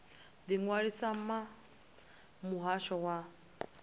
ḓi ṅwalisa na muhasho wa